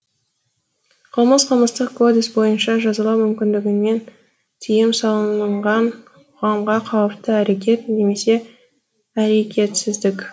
қылмыс қылмыстық кодекс бойынша жазалау мүмкіндігімен тыйым салынынған қоғамға қауіпті әрекет немесе әрекетсіздік